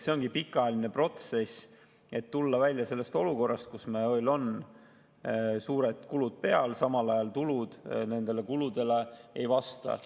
See on pikaajaline protsess, et tulla välja sellest olukorrast, kus meil on suured kulud peal, samal ajal tulud nendele kuludele ei vasta.